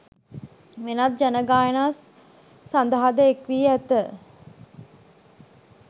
වෙනත් ජන ගායනා සඳහාද එක් වී ඇත.